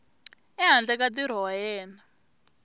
ehandle ka ntirho wa yena